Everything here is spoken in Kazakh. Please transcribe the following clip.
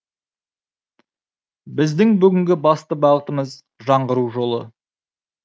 біздің бүгінгі басты бағытымыз жаңғыру жолы